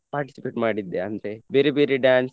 participate ಮಾಡಿದ್ದೆ ಅಂದ್ರೆ ಬೇರೆ ಬೇರೆ dance .